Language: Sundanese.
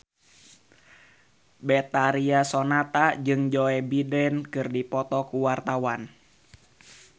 Betharia Sonata jeung Joe Biden keur dipoto ku wartawan